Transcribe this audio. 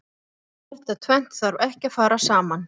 Þetta tvennt þarf ekki að fara saman.